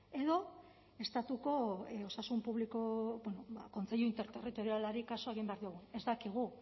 edo estatuko osasun publiko kontseilu interterritorialari kasu egin behar diogun ez dakigu